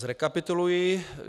Zrekapituluji.